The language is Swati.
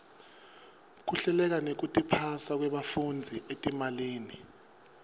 kuhleleka nekutiphasa kwebafundzi etimalini